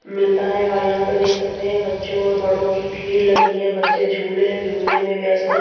मिलता है और यहां पर देख सकते हैं बच्चों और बड़ों की भीड़ लगी है बच्चे झूले झूलने में व्यस्त है।